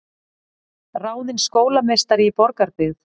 Ráðin skólameistari í Borgarbyggð